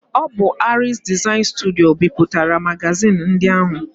Ọ bụ Aries Design Studio bipụtara magazin ndị ahụ